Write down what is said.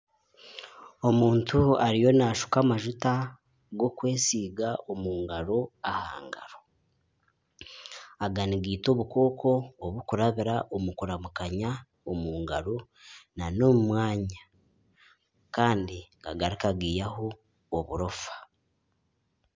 Omuntu ariyo naashuka amajuta g'okwesiga omu ngaro aha ngaro. Aga nigaita obukooko obukurabira omu kuramukanya omu ngaro n'omu mwanya. Kandi gagaruka gaihaho oburofa.